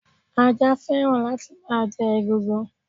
Ajá fẹ́ràn láti máa jẹ egungun.